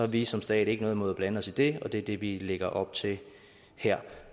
vi som stat ikke noget imod at blande os i det og det er det vi lægger op til her